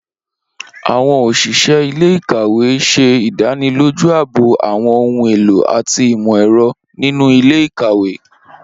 Awọn oṣiṣẹ ile-ikawe ṣe idaniloju aabo awọn ohun elo ati imọ-ẹrọ ninu ile-ikawe.